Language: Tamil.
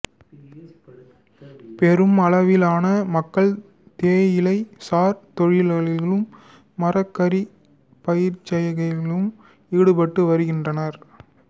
பெரும் அளவிலான மக்கள் தேயிலை சார் தொழில்களிலும் மரக்கறி பயிர்செய்கையிலும் ஈடுபட்டு வருகின்றனர்